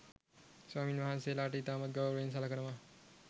ස්වාමින්වහන්සේලට ඉතාමත් ගෞරවයෙන් සලකනවා.